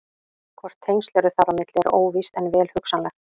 Hvort tengsl eru þar á milli er óvíst en vel hugsanlegt.